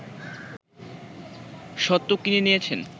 স্বত্ব কিনে নিয়েছেন